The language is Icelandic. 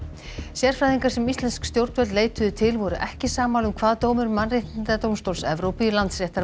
sérfræðingar sem íslensk stjórnvöld leituðu til voru ekki sammála um hvað dómur Mannréttindadómstóls Evrópu í